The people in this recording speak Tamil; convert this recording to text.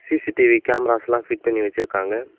சி_சி_டி_வி கேமராஸ்ஸெல்லாம் ஃபிட் பண்ணி வெச்சிருக்காங்க.